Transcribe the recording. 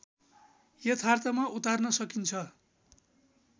यथार्थमा उतार्न सकिन्छ